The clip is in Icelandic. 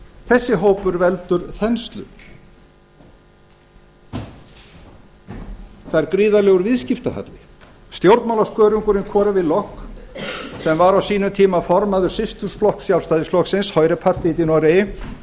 þessi hópur veldur þenslu það er gríðarlegur viðskiptahalli stjórnmálaskörungurinn lock sem var á sínum tíma formaður systurflokks sjálfstæðisflokksins høire partiet í noregi